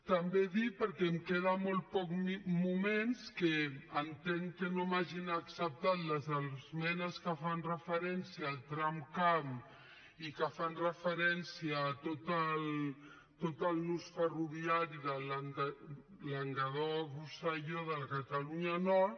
també dir perquè em queden molt pocs moments que entenc que no m’hagin acceptat les esmenes que fan referència al tramcamp i que fan referència a tot el nus ferroviari de languedoc rosselló de la catalunya nord